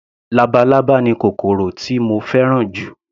Labalábá ni kòkòrò tí mo fẹ́ràn jù